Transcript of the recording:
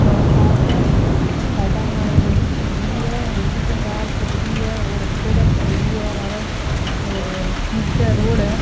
धोला कांच है और साइडा के माय एक बड़ी से हवेली है हवेली के सार छोडेडी है और पेड़िया छोडेडी है लारे और निचे रोड है।